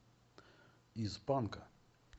из банка